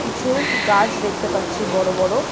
কিছু গাছ দেখতে পাচ্ছি বড় বড়।